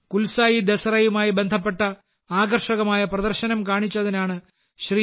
കുൽസായി ദസറയുമായി ബന്ധപ്പെട്ട ആകർഷകമായ പ്രദർശനം കാണിച്ചതിനാണ് ശ്രീ